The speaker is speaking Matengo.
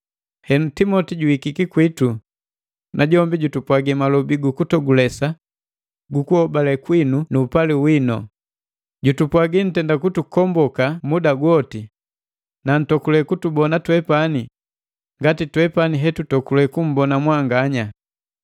Henu Timoti juhikiki kwitu, najombi jutupwagi malobi gu kututogulesa gu kuhobale kwinu nu upali winu. Jutupwagi ntenda kutukomboka muda gwoti, na nntokule kutubona twepani ngati twepani hetutokule kummbona mwanganya.